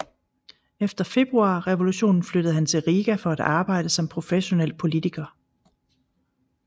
Efter Februarrevolutionen flyttede han til Riga for at arbejde som professionel politiker